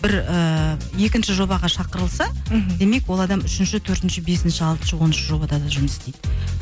бір ыыы екінші жобаға шақырылса мхм демек ол адам үшінші төртінші бесінші алтыншы оныншы жобада да жұмыс істейді